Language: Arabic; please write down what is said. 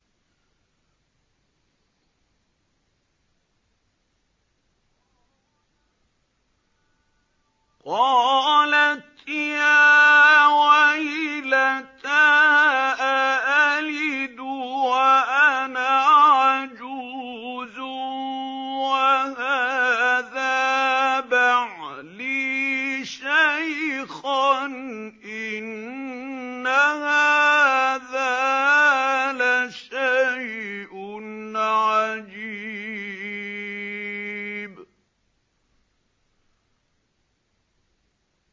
قَالَتْ يَا وَيْلَتَىٰ أَأَلِدُ وَأَنَا عَجُوزٌ وَهَٰذَا بَعْلِي شَيْخًا ۖ إِنَّ هَٰذَا لَشَيْءٌ عَجِيبٌ